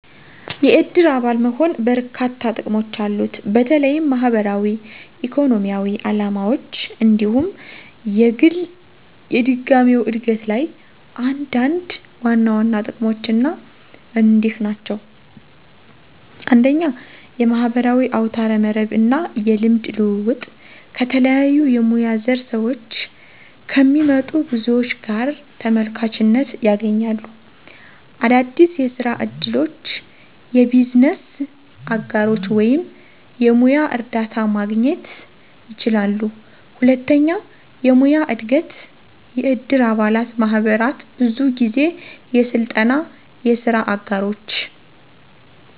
የእድር አባል መሆን በርካሽ ጥቅሞች አሉት፣ በተለይም ማህበራዊ፣ ኢኮኖሚያዊ ዓላማዎች እንዲሁም የግል የድጋሚው እድገት ላይ። አንዳንድ ዋና ዋና ጥቅሞች አና ክንድህ ናቸው 1. የማህበራዊ አውታረ መረብ እና የልምድ ልውውጥ - ከተለያዩ የሙያ ዘር ስዎች ከሚመጡ ብዙዎች ጋር ተመልካችነት ያገኛሉ። - አዳዲስ የስራ እድሎች፣ የቢዝነስ አጋሮች ወይም የሙያ እርዳታ ማግኘት ይችላሉ። 2. የሙያዊ እድገት** - የእድር አባላት ማህበራት ብዙ ጊዜ የስልጠና፣ የስራ አጋሮች፣